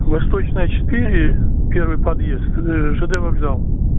восточная четыре первый подъезд ж д вокзал